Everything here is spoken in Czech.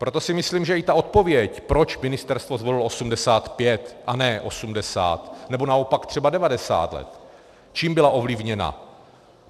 Proto si myslím, že i ta odpověď, proč ministerstvo zvolilo 85 a ne 80, nebo naopak třeba 90 let - čím byla ovlivněna.